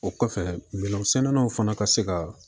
O kɔfɛ minɛnsɛnnanw fana ka se ka